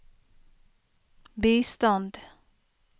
bistand